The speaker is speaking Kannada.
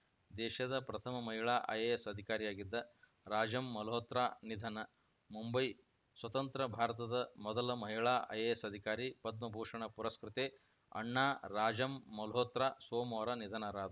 ದೇಶದ ಪ್ರಥಮ ಮಹಿಳಾ ಐಎಎಸ್‌ ಅಧಿಕಾರಿಯಾಗಿದ್ದ ರಾಜಂ ಮಲ್ಹೋತ್ರಾ ನಿಧನ ಮುಂಬೈ ಸ್ವತಂತ್ರ ಭಾರತದ ಮೊದಲ ಮಹಿಳಾ ಐಎಎಸ್‌ ಅಧಿಕಾರಿ ಪದ್ಮಭೂಷಣ ಪುರಸ್ಕೃತೆ ಅಣ್ಣಾ ರಾಜಂ ಮಲ್ಹೋತ್ರಾ ಸೋಮವಾರ ನಿಧನರಾದ